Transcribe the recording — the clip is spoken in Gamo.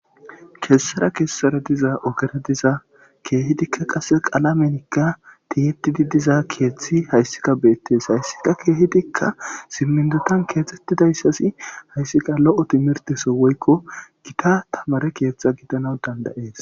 Kessara kessara diza ogera diza keehidika qasse qalamenka gorpetida diza keethi keehidika beetees. Hayssika keehidika siminton keexetidaysi haysika lo'o timirte soo woyko gita tamare keetha gidanas danda'ees.